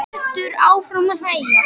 Og heldur áfram að hlæja.